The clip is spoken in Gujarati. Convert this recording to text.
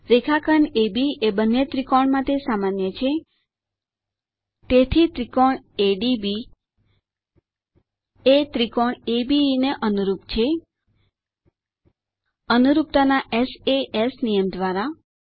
રેખાખંડ અબ એ બંને ત્રિકોણ માટે સામાન્ય છે તેથી △ADB ≅ △ABE અનુરૂપતાના સાસ નિયમ દ્વારા